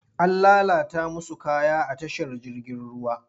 An lalata musu kaya a tashar jirgin ruwa.